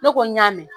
Ne ko n y'a mɛn